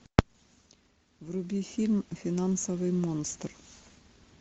вруби фильм финансовый монстр